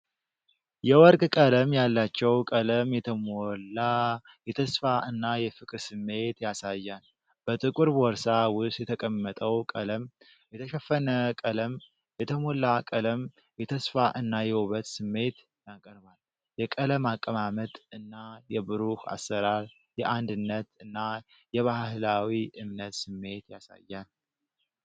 የወርቅ ቀለም ያላቸው ቀለም የተሞላ የተስፋ እና የፍቅር ስሜት ያሳያል። በጥቁር ቦርሳ ውስጥ የተቀመጠው ቀለም የተሸፈነ ቀለም የተሞላ ቀለም የተስፋ እና የውበት ስሜት ያቀርባል። የቀለም አቀማመጥ እና የብሩህ አሰራር የአንድነት እና የባህላዊ እምነት ስሜት ያሳያል።